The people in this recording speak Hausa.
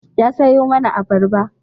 Ya sayo mana abarba.